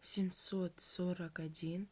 семьсот сорок один